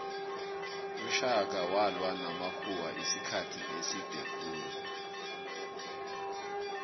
ushaka walwa namakhuwamisikhathi eside khulu